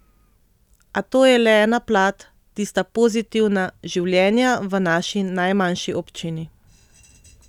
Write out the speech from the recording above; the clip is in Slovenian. A to je le ena plat, tista pozitivna, življenja v naši najmanjši občini.